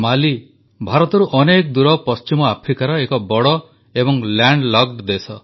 ମାଲି ଭାରତରୁ ଅନେକ ଦୂର ପଶ୍ଚିମ ଆଫ୍ରିକାର ଏକ ବଡ଼ ଏବଂ ଲାଣ୍ଡ ଲକ୍ଡ ଦେଶ